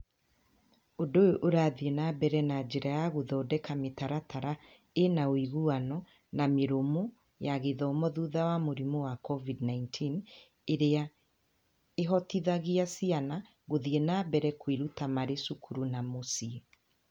Ũndũ ũyũ ũrathiĩ na mbere na njĩra ya gũthondeka mĩtaratara ĩ na ũiguano na mĩrũmu ya gĩthomo thutha wa mũrimũ wa COVID-19, ĩrĩa ĩhotithagia ciana gũthiĩ na mbere kwĩruta marĩ cukuru na mũciĩ.